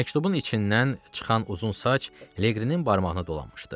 Məktubun içindən çıxan uzun saç Leqrinin barmağına dolanmışdı.